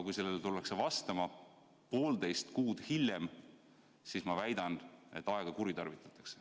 Kui nendele tullakse vastama poolteist kuud hiljem, siis ma väidan, et aega kuritarvitatakse.